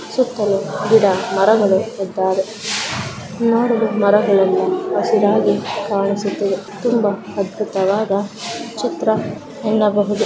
ಸುತ್ತಲೂ ಗಿಡ ಮರಗಳು ಇದ್ದಾವೆ ನೋಡಲು ಮರಗಳೆಲ್ಲಾ ಹಸಿರಾಗಿ ಕಾಣಿಸುತ್ತಿದೆ ತುಂಬಾ ಅದ್ಭುತವಾದ ಚಿತ್ರ ಎನ್ನಬಹುದು.